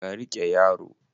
ka rike yaro?